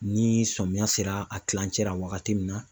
Ni sɔmiya sera a kilancɛ la wagati min na